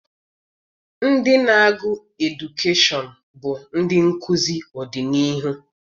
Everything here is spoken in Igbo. Ndị na-agụ edukeshọn bụ ndị nkụzi ọdịniihu.